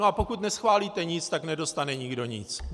No a pokud neschválíte nic, tak nedostane nikdo nic.